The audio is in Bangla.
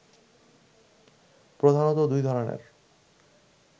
প্রধানত দুই ধরনের